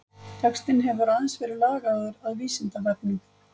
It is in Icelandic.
Textinn hefur aðeins verið lagaður að Vísindavefnum.